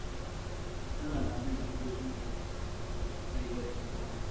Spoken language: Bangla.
না না না ma'am আপনি বুঝলেন ভুল, আপনি রেগে যাচ্ছেন খামোখা।